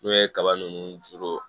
N'o ye kaba ninnu juru